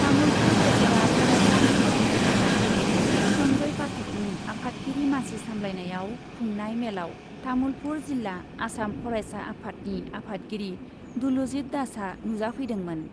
तामुलपुर दखरा फरायसा आफादनि आफादगिरि सन्जय पाठकनि आफादगिरि मासि सामब्लायनायाव खुंनाय मेलाव तामुलपुर जिल्ला आसाम फरायसा आफादनि आफादगिरि दुलुजित दासआ नुजाफैदोंमोन।